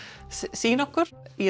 sýna okkur í